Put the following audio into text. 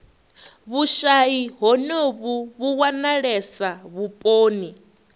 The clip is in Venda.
vhushayi honovhu vhu wanalesa vhuponi